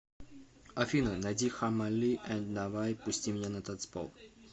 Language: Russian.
афина найди хаммали энд навай пусти меня на танцпол